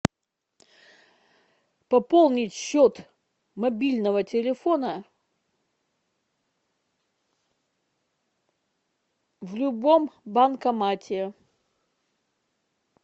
пополнить счет мобильного телефона в любом банкомате